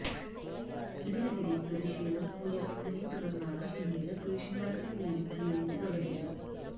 ഇതിനെതിരെ പ്രതിഷേധം ഉയര്ന്നതിനെ തുടര്ന്നാണ് പിന്നീട് പുരുഷന്മാരുടെ പേരും ഉപയോഗിച്ച് തുടങ്ങിയത്